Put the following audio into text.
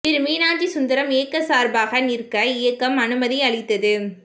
திரு மீனாட்சி சுந்தரம் இயக்க சார்பாக நிற்க இயக்கம் அனுமதி அளித்தது